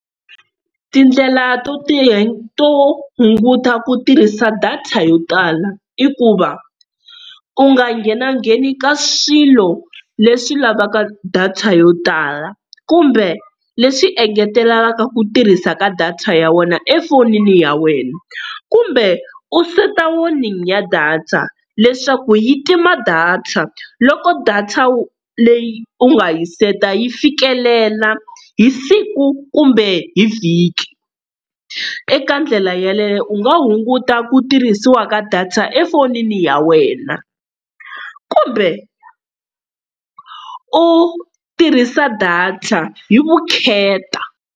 Tindlela to to hunguta ku tirhisa data yo tala i ku va u nga nghena ngheni ka swilo leswi lavaka data yo tala, kumbe leswi engetelelaka ku tirhisa ka data ya wena efonini ya wena, kumbe u seta warning ya data leswaku yi tima data loko data leyi u nga yi seta yi fikelela hi siku kumbe hi vhiki. Eka ndlela yaleyo u nga hunguta ku tirhisiwa ka data efonini ya wena kumbe u tirhisa data hi vukheta.